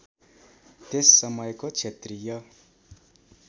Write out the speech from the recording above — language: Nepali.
त्यस समयको क्षत्रिय